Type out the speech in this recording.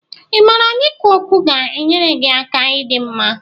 Ị maara na ikwu okwu ga-enyere gị aka ịdi mma?